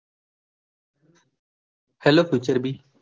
hello ખુચર બી.